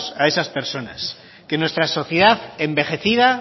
a esas personas que nuestra sociedad envejecida